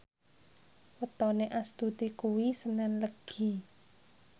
wetone Astuti kuwi senen Legi